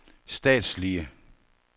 statslige